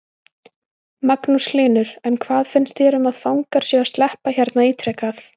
Magnús Hlynur: En hvað finnst þér um að fangar séu að sleppa hérna ítrekað?